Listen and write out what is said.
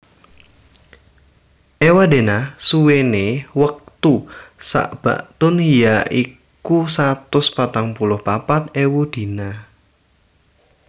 Ewadena suwene wektu saBaktun ya iku satus patang puluh papat ewu dina